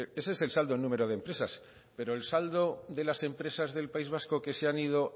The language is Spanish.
ese es el saldo en número de empresas pero el saldo de las empresas del país vasco que se han ido